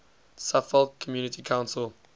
suffolk community council